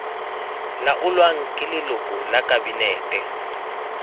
laolwang ke leloko la kabinete